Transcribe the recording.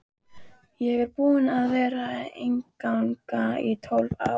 Ég er búinn að vera í einangrun í tólf daga.